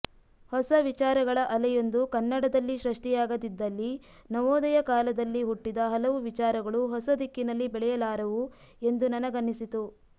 ಹೊಸ ವಿಚಾರಗಳ ಅಲೆಯೊಂದು ಕನ್ನಡದಲ್ಲಿ ಸೃಷ್ಟಿಯಾಗದಿದ್ದಲ್ಲಿ ನವೋದಯ ಕಾಲದಲ್ಲಿ ಹುಟ್ಟಿದ ಹಲವು ವಿಚಾರಗಳು ಹೊಸ ದಿಕ್ಕಿನಲ್ಲಿ ಬೆಳೆಯಲಾರವು ಎಂದು ನನಗನ್ನಿಸಿತು